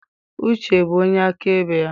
Uche bụ onye akaebe ya.